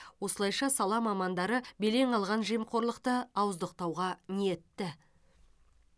осылайша сала мамандары белең алған жемқорлықты ауыздықтауға ниетті